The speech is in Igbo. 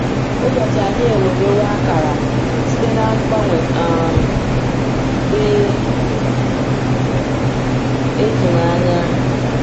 Ụbọchị anyị ewerewo akara site n’ mgbanwe um dị ịtụnanya.